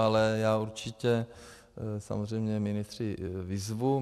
Ale já určitě samozřejmě ministry vyzvu.